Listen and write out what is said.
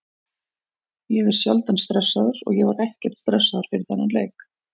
Ég er sjaldan stressaður og ég var ekkert stressaður fyrir þennan leik.